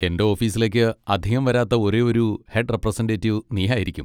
എന്റെ ഓഫീസിലേക്ക് അധികം വരാത്ത ഒരേയൊരു ഹെഡ് റെപ്രസെന്റെറ്റിവ് നീ ആയിരിക്കും.